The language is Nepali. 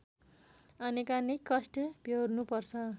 अनेकानेक कष्ट व्यहोर्नुपर्छ